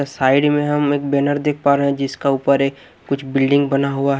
अ side में हम एक बैनर देख पा रहे हैं जिसका ऊपर एक कुछ बिल्डिंग बना हुआ है।